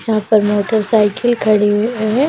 यहाँ पर motorcycle खड़ी हुई हैं ।